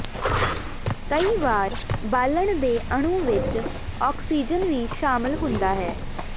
ਕਈ ਵਾਰ ਬਾਲਣ ਦੇ ਅਣੂ ਵਿਚ ਔਕਸੀਜਨ ਵੀ ਸ਼ਾਮਲ ਹੁੰਦਾ ਹੈ